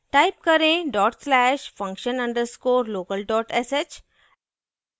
type करें dot slash function underscore local dot sh